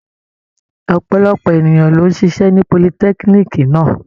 Ọ̀pọ̀lọpọ̀ ènìyàn ló ń ṣiṣẹ́ ní politẹ́kíníìkì náà.